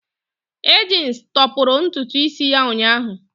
Agnes tọpụrụ ntutu isi ya ụnyahụ.